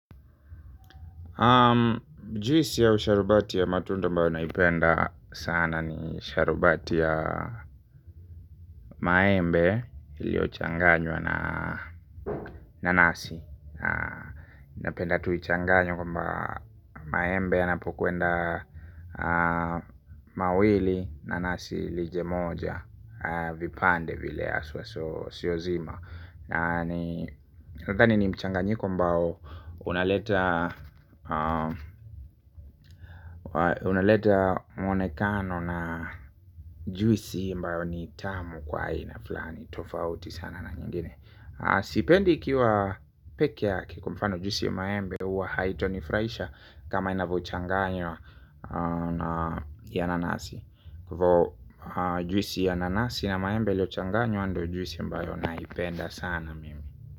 Juisi au sharubati ya matunda ambayo naipenda sana ni sharubati ya maembe iliochanganywa na nanasi. Napenda tu ichanganywe kwamba maembe yanapokuenda mawili nanasi lije moja vipande vile haswa so sio zima. Nadhani ni mchanganyiko ambao unaleta unaleta mwonekano na juisi ambayo ni tamu kwa aina fulani tofauti sana na nyingine sipendi ikiwa pekee ya kwa mfano juisi ya maembe huwa haitanifurahisha kama inavyochanganywa na ya nanasi hvo juisi ya nanasi na maembe ilio changanywa ndio juisi ambayo naipenda sana mimi.